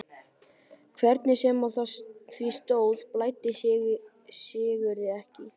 Hvernig sem á því stóð blæddi Sigurði ekki.